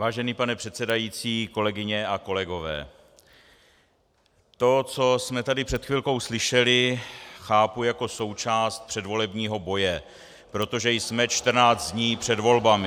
Vážený pane předsedající, kolegyně a kolegové, to, co jsme tady před chvilkou slyšeli, chápu jako součást předvolebního boje , protože jsme 14 dní před volbami.